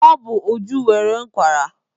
Ọ bụ Uju nwere ụkwara.